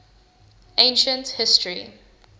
ancient history